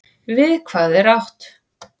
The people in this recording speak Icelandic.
Við hvað er átt?